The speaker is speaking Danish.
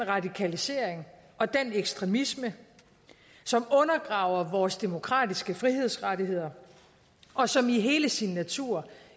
radikalisering og den ekstremisme som undergraver vores demokratiske frihedsrettigheder og som i hele sin natur